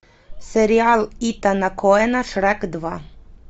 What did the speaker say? сериал итана коэна шрек два